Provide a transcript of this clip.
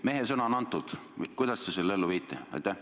Mehesõna on antud, kuidas te selle ellu viite?